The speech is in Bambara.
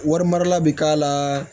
Wari mara la bɛ k'a la